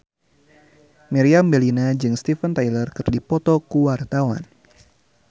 Meriam Bellina jeung Steven Tyler keur dipoto ku wartawan